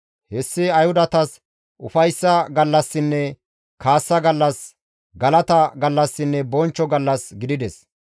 Hessi Ayhudatas ufayssa gallassinne kaassa gallas, galata gallassinne bonchcho gallas gidides.